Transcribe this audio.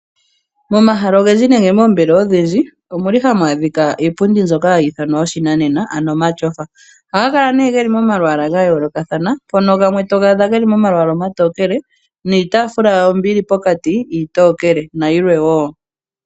Momahala ogendji nenge moombelelwa odhindji omuli hamu adhika iipundi mbyoka hayi ithanwa yoshinanena ano omatyofa, ohayi kala ne yili momalwaala gayoolokatana mpoka gamwe to gadha geli molwaala lutokele niitafula yawo mbi yili pokati iitokele na yilwe wo.